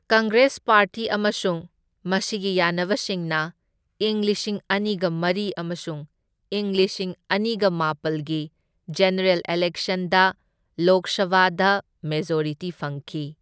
Congress party ꯑꯃꯁꯨꯡ ꯃꯁꯤꯒꯤ ꯌꯥꯅꯕꯁꯤꯡꯅ ꯢꯪ ꯂꯤꯁꯤꯡ ꯑꯅꯤꯒ ꯃꯔꯤ ꯑꯃꯁꯨꯡ ꯢꯪ ꯂꯤꯁꯤꯡ ꯑꯅꯤꯒ ꯃꯥꯄꯜꯒꯤ ꯖꯦꯅꯔꯦꯜ ꯏꯂꯦꯛꯁꯟꯗ ꯂꯣꯛ ꯁꯚꯥꯗ ꯃꯦꯖꯣꯔꯤꯇꯤ ꯐꯪꯈꯤ꯫